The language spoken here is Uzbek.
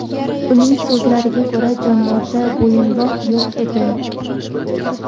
Uning so‘zlariga ko‘ra, jonivorda bo‘yinbog‘ yo‘q edi.